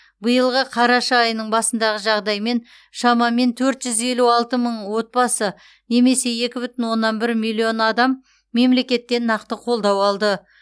биылғы қараша айының басындағы жағдаймен шамамен төрт жүз елу алты мың отбасы немесе екі бүтін оннан бір миллион адам мемлекеттен нақты қолдау алды